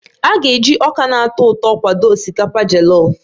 A ga-eji ọka na-atọ ụtọ kwado osikapa jọlọf